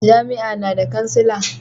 jami'a na da kansila